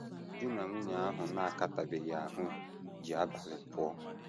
DI NA nwunye ahụ na - akatabeghị ahụ́ ji abalị pụọ.